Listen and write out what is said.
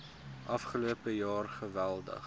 afgelope jaar geweldig